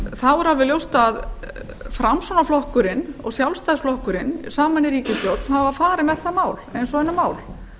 er alveg ljóst að framsóknarflokkurinn og sjálfstæðisflokkurinn saman í ríkisstjórn hafa farið með það mál eins og önnur mál